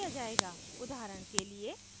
उदाहरण के लिएः